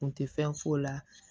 Kun tɛ fɛn f'o la